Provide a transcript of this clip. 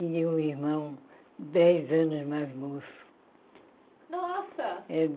E um irmão dez anos mais moço. Nossa